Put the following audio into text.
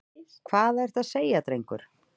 Hvað ertu að segja, drengur?